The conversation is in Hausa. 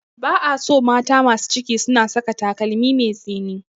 Ba a so mata masu ciki suna saka takalmi mai tsini.